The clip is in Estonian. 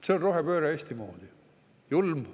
See on rohepööre Eesti moodi!